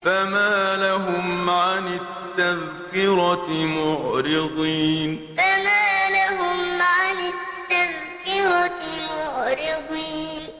فَمَا لَهُمْ عَنِ التَّذْكِرَةِ مُعْرِضِينَ فَمَا لَهُمْ عَنِ التَّذْكِرَةِ مُعْرِضِينَ